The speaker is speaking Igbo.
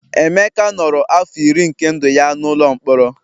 Emeka nọrọ afọ iri nke ndụ ya n'ụlọ mkpọrọ